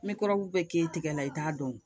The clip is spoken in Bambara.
N bɛ kɔrɔngu bɛɛ kɛ tigɛ la i t'a dɔn